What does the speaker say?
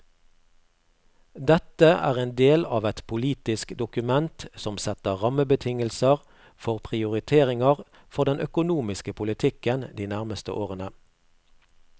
Dette er en del av et politisk dokument som setter rammebetingelser for prioriteringer for den økonomiske politikken de nærmeste årene.